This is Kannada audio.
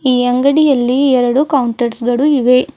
ಈ ಅಂಗಡಿಯಲ್ಲಿ ಎರಡು ಕೌಂಟರ್ಸ್ ಗಳು ಇವೆ.